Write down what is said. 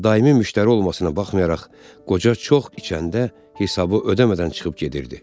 Daimi müştəri olmasına baxmayaraq, qoca çox içəndə hesabı ödəmədən çıxıb gedirdi.